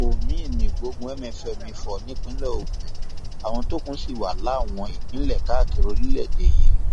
omiín ní ìgbógun mfm ifò nípínlẹ ogun àwọn tó kù sì wà láwọn ìpínlẹ káàkiri orílẹèdè yìí